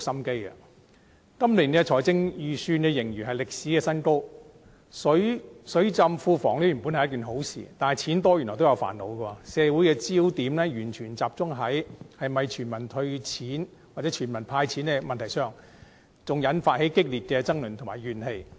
今年的財政盈餘創歷史新高，"水浸庫房"本是一件好事，但錢多原來也有煩惱，社會的焦點全部集中在是否全民"派錢"，更引發激烈爭論和怨氣。